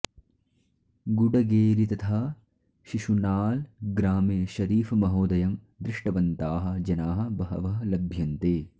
गुडगेरि तथा शिशुनाळ ग्रामे शरीफमहोदयं दृष्टवन्ताः जनाः बहवः लभ्यन्ते